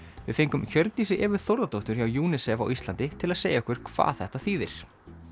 við fengum Hjördísi Evu Þórðardóttur hjá UNICEF á Íslandi til að segja okkur hvað þetta þýðir